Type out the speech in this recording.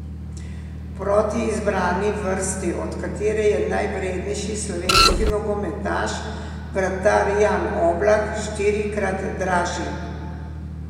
Proti izbrani vrsti, od katere je najvrednejši slovenski nogometaš, vratar Jan Oblak, štirikrat dražji.